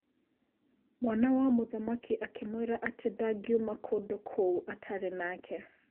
Mwana wa mũthamaki akĩmwĩra atĩ ndangiuma kũndũ kũu atarĩ nake.